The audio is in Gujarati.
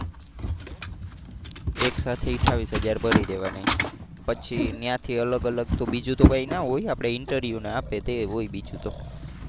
એક સાથે અઠાવીસ હજાર ભરી દેવાના પછી ત્યાંથી અલગ અલગ બીજું તો કઈ ના હોય આપડે interview ને આપીએ તે હોય બીજું તો.